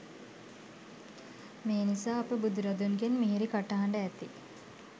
මේ නිසා අප බුදුරදුන්ගෙන් මිහිරි කටහඬ ඇති